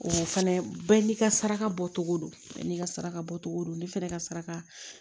O fɛnɛ bɛɛ n'i ka saraka bɔ cogo don bɛɛ n'i ka saraka bɔcogo don ne fana ka saraka